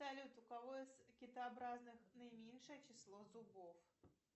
салют у кого из китообразных наименьшее число зубов